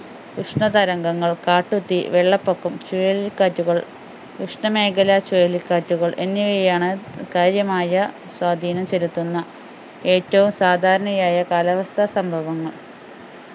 ഉഷ്‌ണ തരംഗങ്ങൾ കാട്ടുതീ വെള്ളപ്പൊക്കം ചുഴലിക്കാറ്റുകൾ ഉഷ്ണമേഖലാ ചുഴലിക്കാറ്റുകൾ എന്നിവയാണ് കാര്യമായ സ്വാധീനം ചെലുത്തുന്ന ഏറ്റവും സാധാരണയായ കാലാവസ്ഥാ സംഭവങ്ങൾ